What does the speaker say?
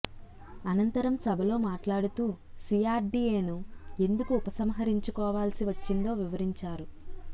అనంతరం సభలో మాట్లాడుతూ సీఆర్డీఏను ఎందుకు ఉపసంహరించుకోవాల్సి వచ్చిందో వివరించారు